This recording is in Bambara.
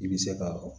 I bɛ se ka